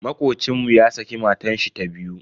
Makocin mu ya saki matashi ta biyu.